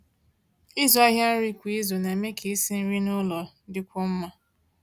ị̀zụ́ àhịa nrí kwá ízù ná-èmé kà ísi nrí n'ụ́lọ̀ dị́kwúó mmá.